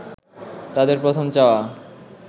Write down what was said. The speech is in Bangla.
তাদের প্রথম চাওয়া